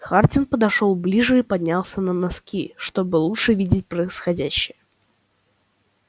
хардин подошёл ближе и поднялся на носки чтобы лучше видеть происходящее